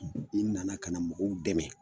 I nana ka na mɔgɔw dɛmɛ